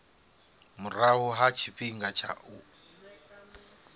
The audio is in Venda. murahu ha tshifhinga tsha u